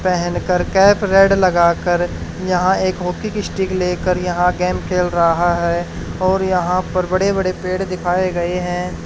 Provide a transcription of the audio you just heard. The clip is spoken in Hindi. पहेन कर कैप रेड लगा कर यहाँ एक वॉकिन स्टिक लेकर यहाँ गेम खेल रहा है और यहां पर बड़े बड़े पेड़ दिखाए गए हैं।